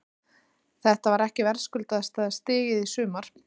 Þetta var ekki verðskuldaðasta stigið í sumar?